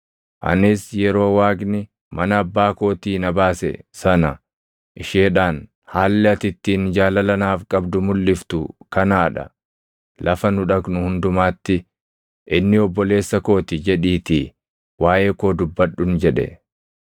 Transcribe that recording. Anis yeroo Waaqni mana abbaa kootii na baase sana isheedhaan, ‘Haalli ati ittiin jaalala naaf qabdu mulʼiftu kanaa dha; lafa nu dhaqnu hundumaatti, “Inni obboleessa koo ti” jedhiitii waaʼee koo dubbadhun’ jedhe.”